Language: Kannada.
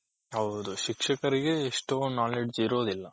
ಹೌದು ಶಿಕ್ಷಕರಿಗೆ ಇಷ್ಟೊಂದು knowledge ಇರೋದಿಲ್ಲ